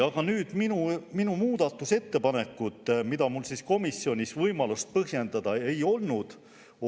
Aga nüüd minu muudatusettepanekud, mida mul komisjonis võimalik põhjendada ei olnud.